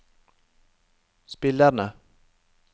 spillerne